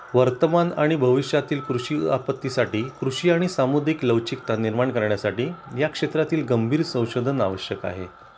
वर्तमान आणि भविष्यातील कृषी आपत्तीसाठी कृषी आणि सामूहिक लवचिकता निर्माण करण्यासाठी या क्षेत्रातील गंभीर संशोधन आवश्यक आहे